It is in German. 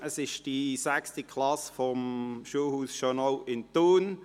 Es ist die sechste Klasse des Schulhauses Schönau in Thun.